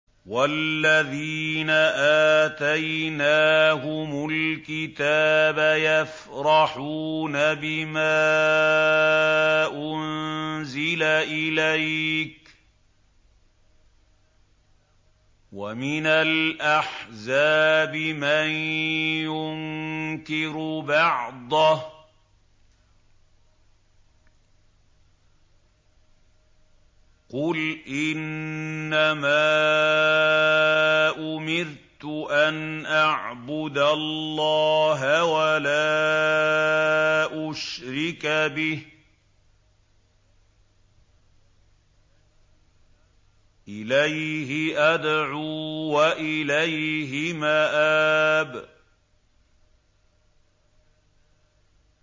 وَالَّذِينَ آتَيْنَاهُمُ الْكِتَابَ يَفْرَحُونَ بِمَا أُنزِلَ إِلَيْكَ ۖ وَمِنَ الْأَحْزَابِ مَن يُنكِرُ بَعْضَهُ ۚ قُلْ إِنَّمَا أُمِرْتُ أَنْ أَعْبُدَ اللَّهَ وَلَا أُشْرِكَ بِهِ ۚ إِلَيْهِ أَدْعُو وَإِلَيْهِ مَآبِ